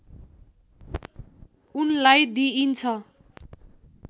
उनलाई दिइन्छ